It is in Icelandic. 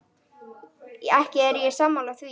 Ekki er ég sammála því.